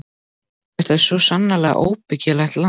Þetta er svo sannarlega óbyggilegt land.